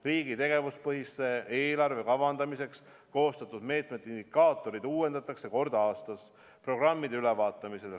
Riigi tegevuspõhise eelarve kavandamiseks koostatud meetmete indikaatorid uuendatakse kord aastas programmide ülevaatamisel.